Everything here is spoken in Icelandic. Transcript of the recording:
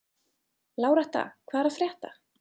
Láretta, hvað er að frétta?